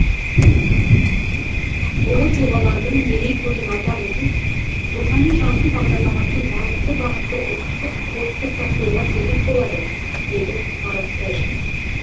ұлы тұлғалардың мерейтойын атап өту рухани жаңғыру бағдарламасының маңызды бағыты ұлттық кодты сақтауға себеп болады деді марат тәжин